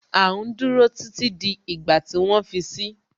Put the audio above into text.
À ń dúró títí di ìgbà tí wọ́n fi si